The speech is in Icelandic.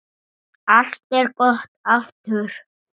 Allt er gott aftur.